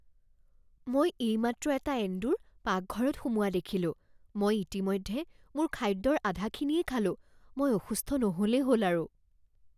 মই এইমাত্ৰ এটা এন্দুৰ পাকঘৰত সোমোৱা দেখিলোঁ। মই ইতিমধ্যে মোৰ খাদ্যৰ আধাখিনিয়েই খালোঁ। মই অসুস্থ নহ'লেই হ'ল আৰু।